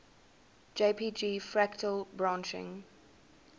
jpg fractal branching